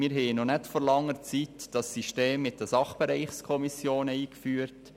Wir haben vor nicht langer Zeit die ständigen Sachbereichskommissionen eingeführt.